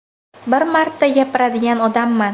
Bir marta gapiradigan odamman.